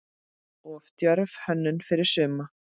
Of djörf hönnun fyrir suma?